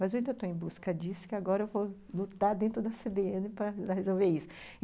Mas eu ainda estou em busca disso, que agora eu vou lutar dentro da cê bê ene para resolver isso.